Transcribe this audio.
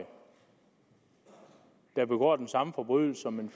der begår den samme forbrydelse som en